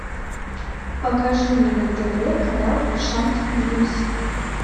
покажи мне на тв канал шант ньюс